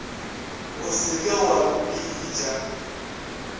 o se ke wa mpitša